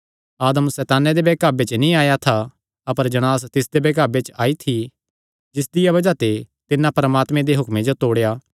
आदम सैताने दे बैहकावे च नीं आया था अपर जणांस तिसदे बैहकावे च आई थी जिसदिया बज़ाह ते तिन्नै परमात्मे दे हुक्मे जो तोड़ेया